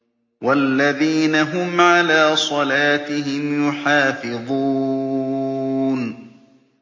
وَالَّذِينَ هُمْ عَلَىٰ صَلَاتِهِمْ يُحَافِظُونَ